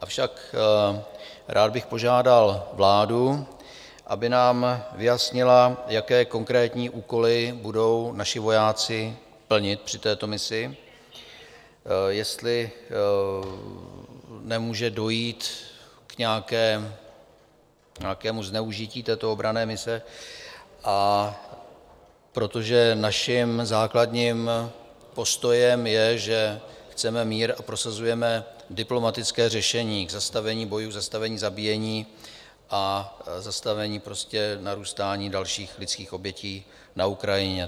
Avšak rád bych požádal vládu, aby nám vyjasnila, jaké konkrétní úkoly budou naši vojáci plnit při této misi, jestli nemůže dojít k nějakému zneužití této obranné mise, protože naším základním postojem je, že chceme mír a prosazujeme diplomatické řešení k zastavení bojů, zastavení zabíjení a zastavení narůstání dalších lidských obětí na Ukrajině.